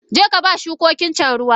Jeka ba shukokincan ruwa!